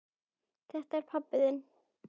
Þetta er pabbi þinn.